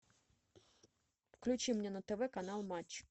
включи мне на тв канал матч